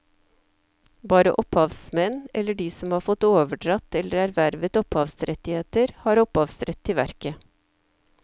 Bare opphavsmenn eller de som har fått overdratt eller ervervet opphavsrettigheter, har opphavsrett til verket.